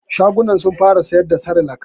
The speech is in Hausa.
Shagon sun fara siyar da sirilak